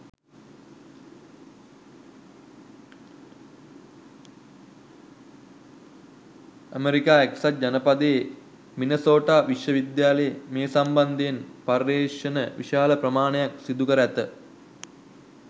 America එක්සත් ජනපදයේ Minnesota විශ්වවිද්‍යාලයේ මේ සම්බන්ධයෙන් පර්යේෂණ විශාල ප්‍රමාණයක් සිදුකර ඇත.